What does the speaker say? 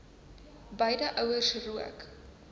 beide ouers rook